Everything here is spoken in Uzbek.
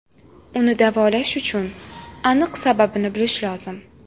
Uni davolash uchun aniq sababini bilish lozim.